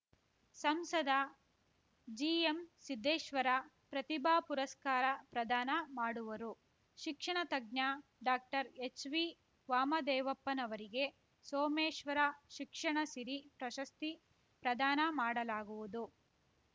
ಸಂಸದ ಜಿಎಂಸಿದ್ದೇಶ್ವರ ಪ್ರತಿಭಾ ಪುರಸ್ಕಾರ ಪ್ರದಾನ ಮಾಡುವರು ಶಿಕ್ಷಣ ತಜ್ಞ ಡಾಕ್ಟರ್ಎಚ್‌ವಿವಾಮದೇವಪ್ಪನವರಿಗೆ ಸೋಮೇಶ್ವರ ಶಿಕ್ಷಣ ಸಿರಿ ಪ್ರಶಸ್ತಿ ಪ್ರದಾನ ಮಾಡಲಾಗುವುದು